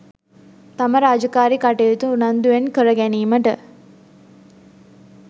තම රාජකාරි කටයුතු උනන්දුවෙන් කර ගැනීමට